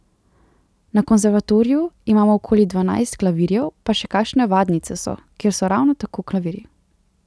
Na konservatoriju imamo okoli dvanajst klavirjev pa še kakšne vadnice so, kjer so ravno tako klavirji.